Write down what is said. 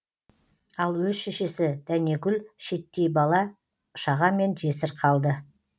ал өз шешесі дәнегүл шеттей бала шағамен жесір қалды